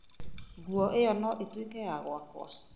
nguo ĩyo no ĩtuĩke ya gwakwa.